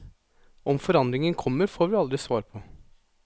Om forandringen kommer, får vi aldri svar på.